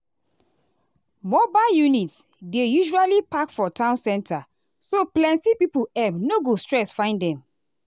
mobile units dey usually park for town center so plenty pipo um no go stress find them.